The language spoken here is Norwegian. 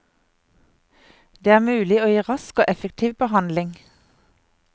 Det er mulig å gi rask og effektiv behandling.